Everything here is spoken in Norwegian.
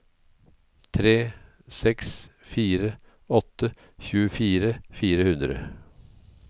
tre seks fire åtte tjuefire fire hundre